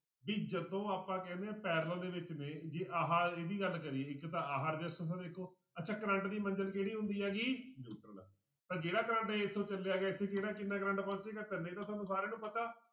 ਵੀ ਜਦੋਂ ਆਪਾਂ ਕਹਿੰਦੇ ਹਾਂ parallel ਦੇ ਵਿੱਚ ਨੇ ਜੇ ਆਹ ਇਹਦੀ ਗੱਲ ਕਰੀਏ ਇੱਕ ਤਾਂ ਆਹ ਰਸਿਸਟੈਂਸਾਂ ਦੇਖੋ ਅੱਛਾ ਕਰੰਟ ਦੀ ਮੰਜ਼ਿਲ ਕਿਹੜੀ ਹੁੰਦੀ ਹੈਗੀ ਤਾਂ ਜਿਹੜਾ ਤੁਹਾਡੇ ਇੱਥੋਂ ਚੱਲਿਆ ਗਾ ਇੱਥੇ ਕਿਹੜਾ ਕਿੰਨਾ ਕਰੰਟ ਪਹੁੰਚੇਗਾ ਤਿੰਨ ਇਹ ਤਾਂ ਤੁਹਾਨੂੰ ਸਾਰਿਆਂ ਨੂੰ ਪਤਾ।